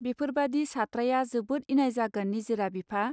बेफोरबादि सात्राया जोबोत इनाय जागोन निजिरा बिफा.